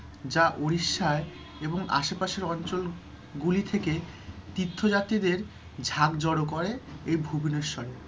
যা উড়িষ্যায় এবং আশেপাশের অঞ্চলগুলি থেকে তীর্থযাত্রীদের ঝাঁক জড়ো করে এই ভুবনেশ্বরে,